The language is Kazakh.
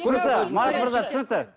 марат мырза түсінікті